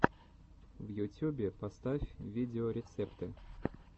в ютюбе поставь видеорецепты